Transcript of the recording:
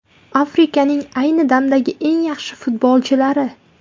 Afrikaning ayni damdagi eng yaxshi futbolchilari.